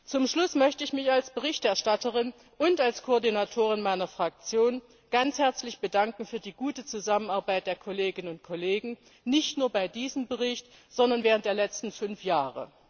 Zum Schluss möchte ich mich als Berichterstatterin und als Koordinatorin meiner Fraktion ganz herzlich für die gute Zusammenarbeit der Kolleginnen und Kollegen bedanken, nicht nur bei diesem Bericht, sondern während der letzten fünf Jahre.